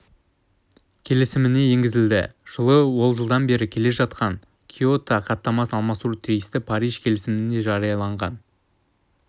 келісіміне енгізілді жылы ол жылдан бері келе жатқан киото хаттамасын алмастыруы тиісті париж келісімінің жарияланған